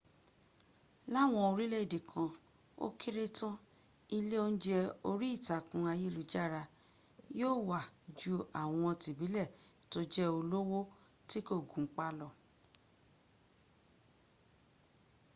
láwọn oríléèdè kan ó kéré tán ilé oúnjẹ orí ìtàkùn ayélujára yóó wà ju àwọn tìbílẹ̀ tó jẹ́ olówó tí kò gunpá lọ